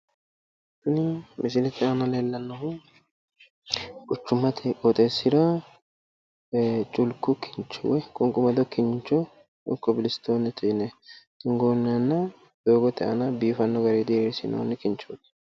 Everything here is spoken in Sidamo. Kuni misilete aana leellannohu quchummate qooxxeessira chulku kinchi woy qunqumado kinchi woy kobilisitoonne yine duunnenna doogote aana biifanno garinni diriisinoonni kinchooti.